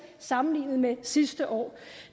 sammenlignet med sidste år